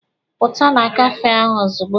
Pụta na kafee ahụ ozugbo!